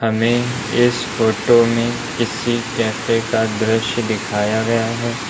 हमें इस फोटो में किसी कैफ़े का दृश्य दिखाया गया है।